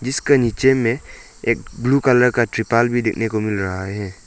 इसके नीचे में एक ब्लू कलर का ट्रिपाल भी देखने को मिल रहा हैं।